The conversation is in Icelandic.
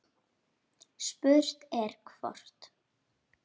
Spurt er hvort